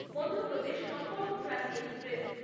Madhya Pradesh Sampark Kranti express